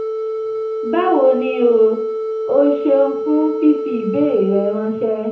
báwo ni o? o ṣeun fun fifi ibeere rẹ ranṣẹ